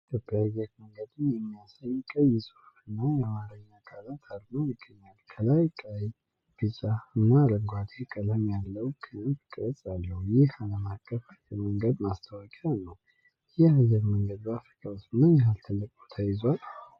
ኢትዮጵያን አየር መንገድን የሚያሳይ ቀይ ጽሑፍና የአማርኛ ቃላት አርማ ይገኛል። ከላይ ቀይ፣ ቢጫ፣ እና አረንጓዴ ቀለም ያለው ክንፍ ቅርጽ አለ። ይህ ዓለም አቀፍ አየር መንገድ ማስታወቂያ ነው። ይህ አየር መንገድ በአፍሪካ ውስጥ ምን ያህል ትልቅ ቦታ ይዟል?